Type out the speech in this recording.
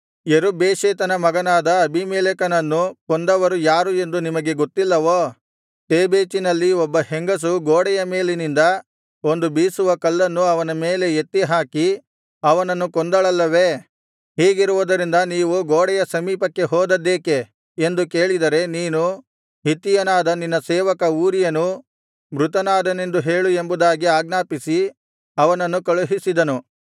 ಯೆರುಬ್ಬೇಷೆತನ ಮಗನಾದ ಅಬೀಮೆಲೇಕನನ್ನು ಕೊಂದವರು ಯಾರು ಎಂದು ನಿಮಗೆ ಗೊತ್ತಿಲ್ಲವೋ ತೇಬೇಚಿನಲ್ಲಿ ಒಬ್ಬ ಹೆಂಗಸು ಗೋಡೆಯ ಮೇಲಿನಿಂದ ಒಂದು ಬೀಸುವ ಕಲ್ಲನ್ನು ಅವನ ಮೇಲೆ ಎತ್ತಿ ಹಾಕಿ ಅವನನ್ನು ಕೊಂದಳಲ್ಲವೇ ಹೀಗಿರುವುದರಿಂದ ನೀವು ಗೋಡೆಯ ಸಮೀಪಕ್ಕೆ ಹೋದದ್ದೇಕೆ ಎಂದು ಕೇಳಿದರೆ ನೀನು ಹಿತ್ತಿಯನಾದ ನಿನ್ನ ಸೇವಕ ಊರೀಯನು ಮೃತನಾದನೆಂದು ಹೇಳು ಎಂಬುದಾಗಿ ಆಜ್ಞಾಪಿಸಿ ಅವನನ್ನು ಕಳುಹಿಸಿದನು